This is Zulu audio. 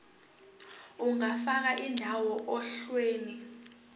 ungafaka indawo ohlelweni